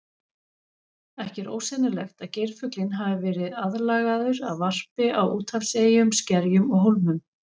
Ekki er ósennilegt að geirfuglinn hafi verið aðlagaður að varpi á úthafseyjum, skerjum og hólmum.